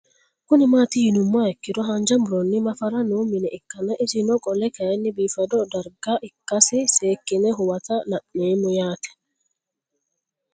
Kuni mati yinumoha ikiro hanja muroni mafara noo mine ikana isino qole kayire bifado darga ikase sekine huwata la'nemoro yaate